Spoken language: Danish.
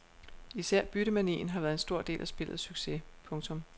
Især byttemanien har været en stor del af spillets succes. punktum